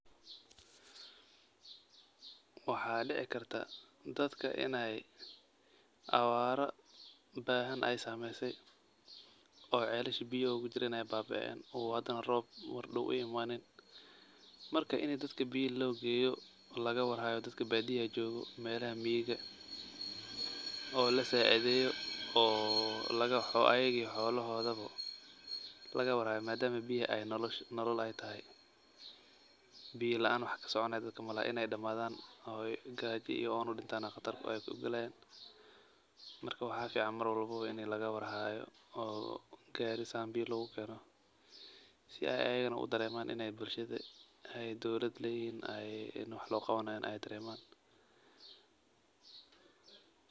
Waxaa dici karta dadka inaay abaara beehan aay saameysay oo celasha biya ogajireen ay baa baeen oo hadana roob mardow uu imaanin markaa ini dadka biyo loo geyo oo laga war haayo dadka baadiyaha joogo melaha miyiga oo lasaa cidheeyo ayaga iyo xolohoodobo laga war haayo maadhamaa biya ay nolol ay tahay. Biya laan wax kasoconaayo dadka malahan inaay damaadhaan ooy gaaja iyo oon udintaan aa qatar ah ayba ogaleyn. Markaa waxaa fican mar walbo inii laga war haayo oo gaari saan biyo loga keeno si aay ayagana u dareemaan inaay bulshada ay dowlad leyihin ay wax loo qawanaayaan aya dareemaan.